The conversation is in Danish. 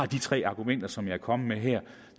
de tre argumenter som jeg er kommet med her